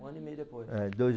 Um ano e meio depois. É, dois